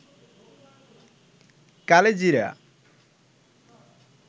কালিজিরা